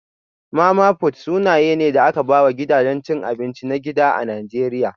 Mama-fut suna ne da aka ba wa gidajen cin abinci na gida a Najeriya